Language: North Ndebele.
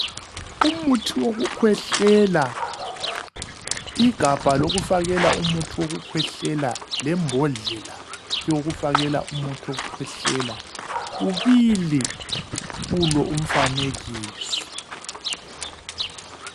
Umuthi wokukhwehlela igabha lokufakela umuthi wokukhwehlela lembodlela yokufakela umuthi wokukhwehlela kubili kulo umfanekiso.